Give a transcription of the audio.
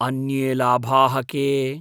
अन्ये लाभाः के?